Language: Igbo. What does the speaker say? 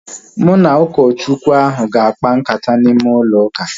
Mụ na ụkọ Chukwu ahu ga-akpa nkata n'ime ụlọ ụka